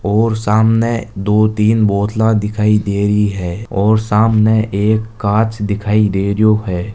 और सामने दो तीन बोतला दिखाई देरी है और सामने एक कांच दिखाई दे रहियो है।